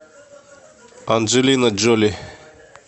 анджелина джоли